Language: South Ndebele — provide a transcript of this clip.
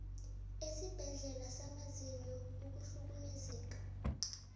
esibhedlela samazinyo ukuhlukumezeka